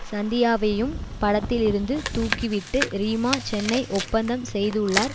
சந்தியாவையும் படத்திலிருந்து தூக்கிவிட்டு ரீமா சென்னை ஒப்பந்தம் செய்துள்ளார்